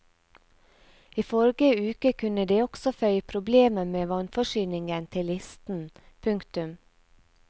I forrige uke kunne de også føye problemer med vannforsyningen til listen. punktum